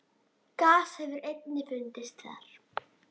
Gas hefur einnig fundist þar.